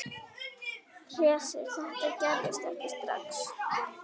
Hersir: Þetta gerist ekki strax?